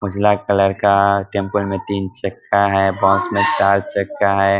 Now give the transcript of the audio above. उजाला colour का है tempo में तीन चक्का हैं बस में चार चक्का हैं।